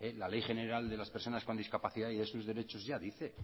la ley general de las personas con discapacidad y de sus derechos ya dice